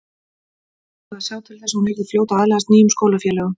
Ætlaði að sjá til þess að hún yrði fljót að aðlagast nýjum skólafélögum.